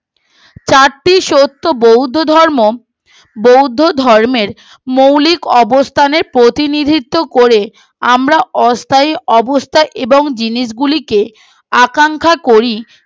চারটি শর্ত বৌদ্ধ ধর্ম বৌদ্ধ ধর্মের মৌলিক অবস্থানের প্রতিনিধিত্বও করে আমরা অস্থায়ী অবস্থা এবং জিনিস গুলিকে আকাঙ্খা করি